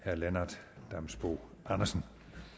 herre lennart damsbo andersen